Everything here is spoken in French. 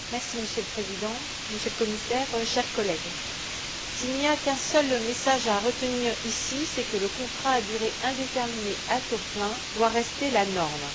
Monsieur le Président, Monsieur le Commissaire, chers collègues, s'il n'y a qu'un seul message à retenir ici, c'est que le contrat à durée indéterminée à taux plein doit rester la norme.